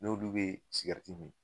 N'olu be sigɛriti mi